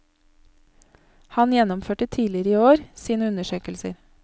Han gjennomførte tidligere i år sine undersøkelser.